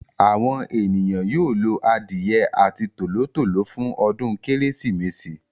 Àwọn ènìyàn yóò lo adìye àti tòló-tòló fún ọdún kérésìmesì.